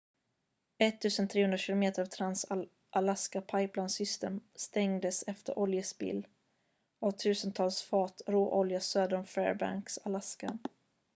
1 300 km av trans-alaska pipeline system stängdes efter oljespill av tusentals fat råolja söder om fairbanks alaska